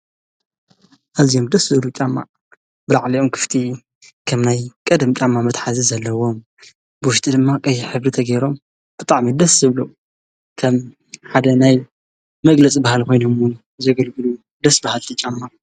ኣዝዮም ደስ ዝብሉ ጫማ ብላዕሊኦም ክፍቲ ከም ናይ ቀደም ጫማ መትሓዚ ዘለዎም ብዉሽጢ ድማ ቀይሕ ሕብሪ ተገይሮም ብጣዕሚ ደስ ዝብሉ ከም ሓደ ናይ መግለጺ ባህሊ ኮይኑ እዉን ዘገልግሉ ደስ በሃልቲ ጫማ።